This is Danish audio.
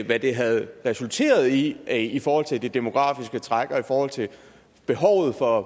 hvad det havde resulteret i i forhold til det demografiske træk og i forhold til behovet for